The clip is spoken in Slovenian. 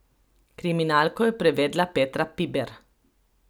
Kriminalko je prevedla Petra Piber.